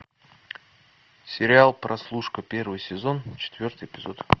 сериал прослушка первый сезон четвертый эпизод